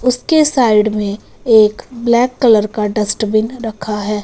उसके साइड में एक ब्लैक कलर का डस्टबिन रखा है।